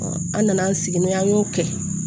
an nana an sigi n'o ye an y'o kɛ